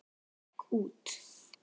Hann gekk út.